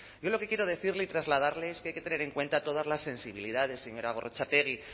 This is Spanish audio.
yo lo que quiero decirle y trasladarle es que hay que tener en cuenta todas las sensibilidades señora gorrotxategi